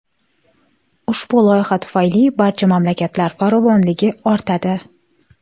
Ushbu loyiha tufayli barcha mamlakatlar farovonligi ortadi.